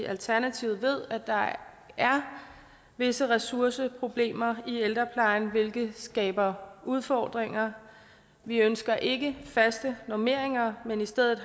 alternativet ved at der er visse ressourceproblemer i ældreplejen hvilket skaber udfordringer vi ønsker ikke faste normeringer men i stedet